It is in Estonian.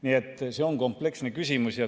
Nii et see on kompleksne küsimus.